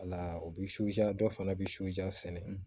Wala o bi dɔ fana bi sɛnɛ